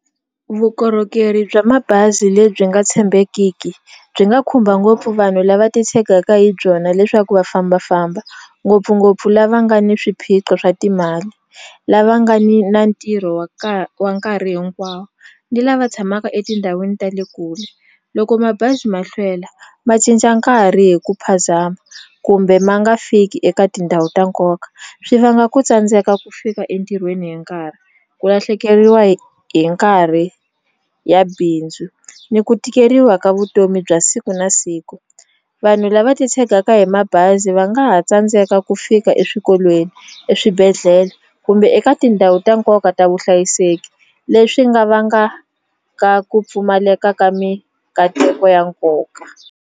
Vukorhokeri bya mabazi lebyi nga tshembekiki byi nga khumba ngopfu vanhu lava titshegaka hi byona leswaku va fambafamba ngopfungopfu lava nga ni swiphiqo swa timali lava nga ni na ntirho wa wa nkarhi hinkwawo ni lava tshamaka etindhawini ta le kule loko mabazi ma hlwela ma cinca nkarhi hi ku phazama kumbe ma nga fiki eka tindhawu ta nkoka swi vanga ku tsandzeka ku fika entirhweni hi nkarhi ku lahlekeriwa hi hi nkarhi ya bindzu ni ku tikeriwa ka vutomi bya siku na siku vanhu lava titshegaka hi mabazi va nga ha tsandzeka ku fika eswikolweni eswibedhlele kumbe eka tindhawu ta nkoka ta vuhlayiseki leswi nga vangaka ku pfumaleka ka mikateko ya nkoka.